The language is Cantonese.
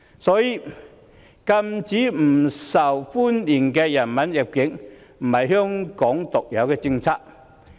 所以，禁止不受歡迎人物入境不是香港獨有的政策。